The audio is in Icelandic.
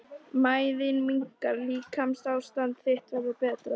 Mæðin minnkar- líkamsástand þitt verður betra.